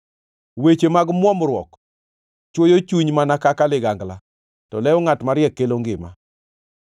Weche mag muomruok chwoyo chuny mana kaka ligangla, to lew ngʼat mariek kelo ngima.